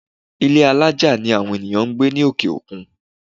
Ilé́ alájà ni àwọn ènìyàn ń gbé ní òkè-òkun.